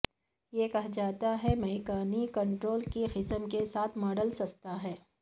یہ کہا جاتا ہے میکانی کنٹرول کی قسم کے ساتھ ماڈل سستا ہے